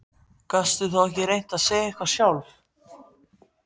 Gastu þá ekki reynt að segja eitthvað sjálf?